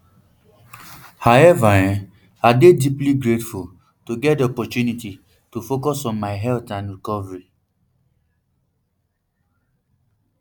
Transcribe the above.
however i dey um deeply grateful to um get di opportunity to focus on my health and recovery